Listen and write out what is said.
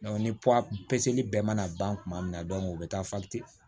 ni bɛɛ mana ban kuma min na u bɛ taa